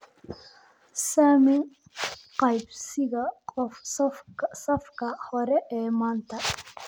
Saami qaybsiga safka hore ee maanta